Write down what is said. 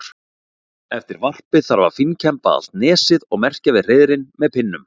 Eftir varpið þarf að fínkemba allt nesið og merkja við hreiðrin með pinnum.